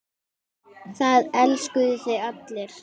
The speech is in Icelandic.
Það elskuðu þig allir.